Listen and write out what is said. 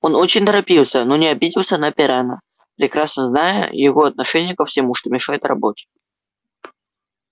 он очень торопился но не обиделся на пиренна прекрасно зная его отношение ко всему что мешает работе